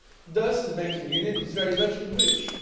Thus the banking union is very much enriched.